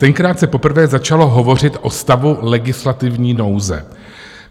Tenkrát se poprvé začalo hovořit o stavu legislativní nouze.